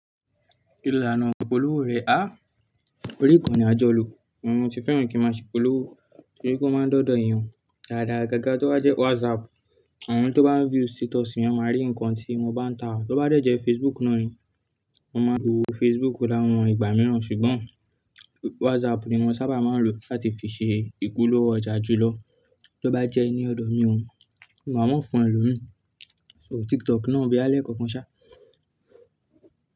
Kíni ilà na ìpolówó rẹ? Orí ìkànnì àjọlò, ohun ni mo tí fẹ́ràn kí a máa ṣe ìpolówó torí pe ó máa ń de odọ̀dọ̀ èèyàn dáadáa. Agaga tó bá jẹ́ WhatsApp, àwọn tó bá view status mi máa rí nǹkan tí mo bá ń ta. Tó bá dẹ̀ jẹ́ Facebook náà ni, mo máa lo Facebook fún àwọn ìgbà mìíràn, ṣùgbọ́n WhatsApp ni wọ́n sábà máa ń lò láti fi ṣe ìpolówó ọjà jùlọ. Tó bá jẹ́ ni ọ̀dọ̀ mi ò, mi o wa mo fún elomi, so TikTok náà boya lẹ́ kokan ṣá.